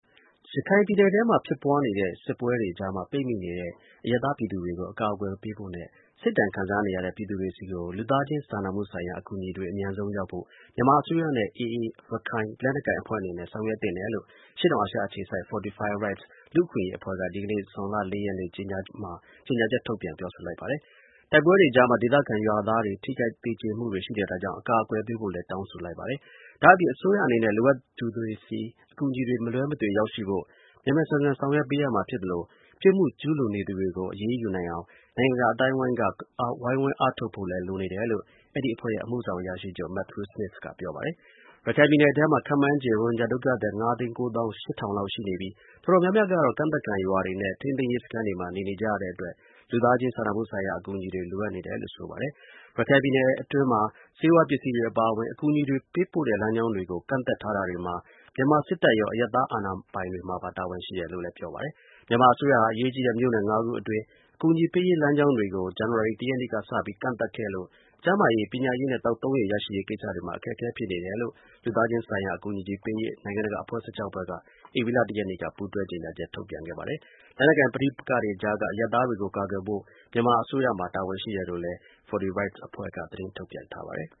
ရခိုင်ပြည်နယ်ထဲမှာ ဖြစ်ပွားနေတဲ့ စစ်ပွဲကြား ပိတ်မိနေတဲ့ အရပ်သား ပြည်သူတွေကို အကာအကွယ် ပေးဖို့နဲ့ စစ်ဒဏ် ခံစားနေရတဲ့ ပြည်သူတွေဆီကို လူသားချင်း စာနာ ထောက်ထားမှု အကူအညီတွေ အမြန်ဆုံး ရောက်ဖို့ မြန်မာ အစိုးရနဲ့ AA ရခိုင် လက်နက်ကိုင် အဖွဲ့အနေနဲ့ ဆောင်ရွက်သင့်တယ်လို့ အရှေ့တောင်အာရှ အခြေစိုက် Fortify Rights လူ့အခွင့်အရေး အဖွဲ့ကြီးက ဒီကနေ့ ဇွန်လ ၄ ရက်နေ့ ကြေညာချက်ထုတ်ပြန်ပြောဆိုလိုက်ပါတယ်။ တိုက်ပွဲတွေကြားမှာ ဒေသခံ ရွာသားတွေ ထိခိုက် သေကြေမှုတွေ ရှိနေတာကြောင့် အကာအကွယ် ပေးဖို့လည်း တောင်းဆို လိုက်ပါတယ်။ ဒါ့အပြင် အစိုးရအနေနဲ့ လိုအပ်သူတွေဆီ အကူအညီတွေ မလွဲမသွေ ရောက်ရှိဖို့ မြန်မြန်ဆန်ဆန် ဆောင်ရွက်ပေးရမှာ ဖြစ်သလို ပြစ်မှု ကျူးလွန်နေသူတွေ ကို အရေးယူနိုင်အောင် နိုင်ငံတကာ အသိုက်အဝန်းက ဝိုင်းဝန်း အားထုတ် ဖို့လည်း လိုနေတယ်လို့ အဲဒီ အဖွဲ့ရဲ့ အမှုဆောင် အရာရှိချုပ် Mathew Smith က ပြောပါတယ်။ ရခိုင်ပြည်နယ်အထဲမှာ ခန့်မှန်းချေ ရိုဟင်ဂျာ ဒုက္ခသည် ၅၉၈၀၀၀ လောက် ရှိနေပြီး တော်တော်များများကတော့ ကန့်သတ်ခံ ရွာတွေနဲ့ ထိန်းသိမ်းရေး စခန်း တွေမှာ နေနေကြရတဲ့အတွက် လူသားချင်း စာနာမှုဆိုင်ရာ အကူအညီတွေ လိုအပ်နေတယ်လို့ ဆိုပါတယ်။ ရခိုင်ပြည်နယ်အထဲ ဆေးဝါး ပစ္စည်းတွေ အပါအဝင် အကူအညီတွေ ပေးပို့တဲ့ လမ်းကြောင်းတွေကို ကန့်သတ်ထားတာတွေမှာ မြန်မာ စစ်တပ်ရော အရပ်သား အာဏာပိုင်တွေပါ တာဝန်ရှိတယ်လို့လည်း ပြောပါတယ်။ မြန်မာ အစိုးရဟာ အရေးကြီးတဲ့ မြို့နယ် ၅ ခုအတွင်း အကူအညီပေးရေး လမ်းကြောင်းတွေကို ဇန်နဝါရီလ ၁ ရက်နေ့က စပြီး ကန့်သတ်ခဲ့လို့ ကျန်းမာရေး၊ ပညာရေးနဲ့ သောက်သုံးရေ ရရှိရေးကိစ္စတွေမှာ အခက်အခဲ ဖြစ်နေတယ်လို့ လူသားချင်းဆိုင်ရာ အကူအညီ ပေးရေး နိုင်ငံတကာအဖွဲ့ ၁၆ ဖွဲ့က ဧပြီလ ၁ ရက်နေ့က ပူးတွဲ ကြေညာချက်ထုတ်ပြန်ခဲ့ပါတယ်။ လက်နက်ကိုင် ပဋိပက္ခကြားက အရပ်သားတွေကို ကာကွယ်ဖို့ မြန်မာ အစိုးရမှာ တာဝန်ရှိတယ်လို့လည်း Fortify Rights အဖွဲ့ သတင်းထုတ်ပြန်ထားပါတယ်။